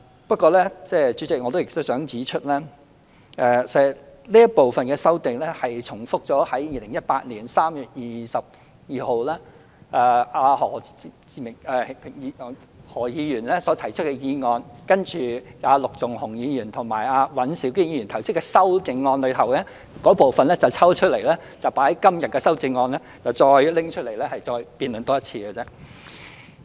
不過，代理主席，我亦想指出，這部分的修訂重複了2018年3月22日何啟明議員就"全面檢討勞工法例，改善勞工權益"提出的議案，並把陸頌雄議員和尹兆堅議員提出的修正案中有關部分抽出來，納入今天的修正案內，重新再辯論一次。